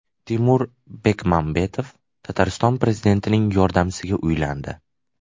Timur Bekmambetov Tatariston prezidentining yordamchisiga uylandi.